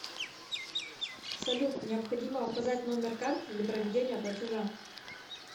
салют необходимо указать номер карты для проведения платежа